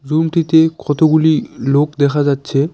Room -টিতে কতগুলি লোক দেখা যাচ্ছে।